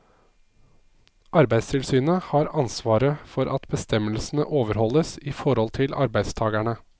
Arbeidstilsynet har ansvaret for at bestemmelsene overholdes i forhold til arbeidstagerne.